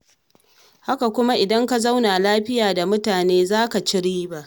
Haka kuma idan ka zauna lafiya da mutane, za ka ci riba.